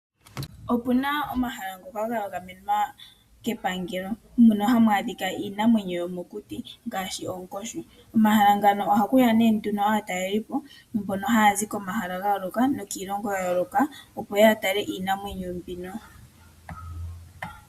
Opuna omahala ngoka ga gamenwa kepangelo. Mono hamu adhika iinamwenyo yomokuti ngaashi oonkoshi. Komahala ngano ohaku ya nee nduno aatalelipo mbono haya zi komahala ga yooloka nokiilongo ya yooloka opo yeye ya tale iinamwenyo mbino.